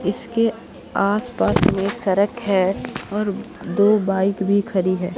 इसके आसपास में सड़क है और दो बाइक भी खड़ी है।